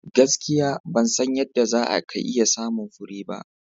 Gaskiya! Ban san yadda za ka iya samun fure ba.